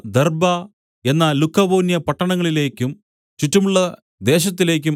Derbe എന്ന Lycaonia പട്ടണങ്ങളിലേക്കും ചുറ്റുമുള്ള ദേശത്തിലേക്കും